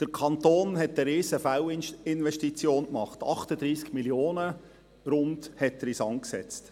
Der Kanton hat eine Riesen-Fehlinvestition gemacht, er hat rund 38 Mio. Franken in den Sand gesetzt.